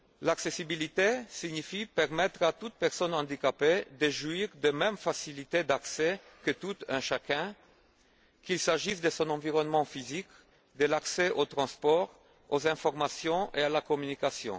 L'accessibilité signifie permettre à toute personne handicapée de jouir des mêmes facilités d'accès que tout un chacun, qu'il s'agisse de son environnement physique, de l'accès aux transports, aux informations et à la communication.